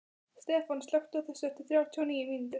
Stefan, slökktu á þessu eftir þrjátíu og níu mínútur.